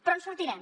però en sortirem